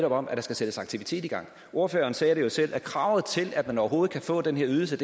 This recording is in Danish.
om at der skal sættes aktivitet i gang ordføreren sagde det jo selv kravet til at man overhovedet kan få den her ydelse